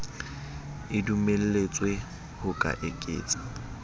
e dumelletswe ho ka eketsa